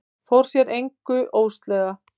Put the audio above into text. Fór sér að engu óðslega.